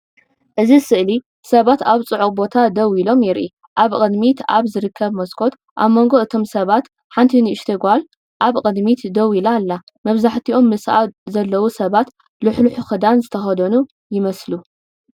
እዚ ስእሊ ሰባት ኣብ ጽዑቕ ቦታ ደው ኢሎም የርኢ። ኣብ ቅድሚት ኣብ ዝርከብ መስኮት ኣብ መንጎ እቶም ሰባት ሓንቲ ንእሽቶ ጓል ኣብ ቅድሚት ደው ኢላ ኣላ። መብዛሕትኦም ምስኣ ዘለዉ ሰባት ልሕሉሕ ክዳን ዝተኸድኑ ይመስሉ።